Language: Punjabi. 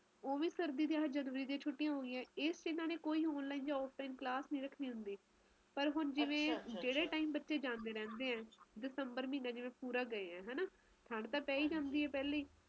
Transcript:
ਮੈਨੂੰ ਤਾ ਆਪ ਰੁਚੀ ਨਾ ਠੰਡ ਹੋਵੇ ਨਾ ਗਰਮੀ ਹੋਵੇ ਵਿਚ ਜਾ ਮੌਸਮ ਵਧੀਆ ਜੇ ਆਪਾ ਇਧਰੋਂ ਵੀ ਸੋਚੀਏ ਤਾ ਇਧਰੋਂ ਲਗਾਲੋ ਨਵੰਬਰ ਓਧਰੋਂ ਮਾਰਚ ਦੋ ਮਹੀਨੇ ਸਭ ਤੋਂ ਵਧੀਆ ਲੱਗਦੇ ਆ